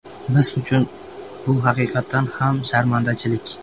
Biz uchun bu haqiqatan ham sharmandachilik.